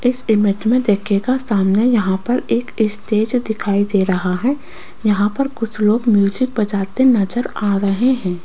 इस इमेज में देखिएगा सामने यहां पर एक स्टेज दिखाई दे रहा है यहां पर कुछ लोग म्यूजिक बजाते नजर आ रहे हैं।